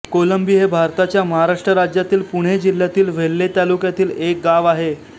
कोलंबी हे भारताच्या महाराष्ट्र राज्यातील पुणे जिल्ह्यातील वेल्हे तालुक्यातील एक गाव आहे